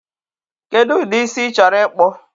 Kedụ ụdị isi ị chọrọ ịkpụ?